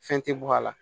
Fɛn tɛ bɔ a la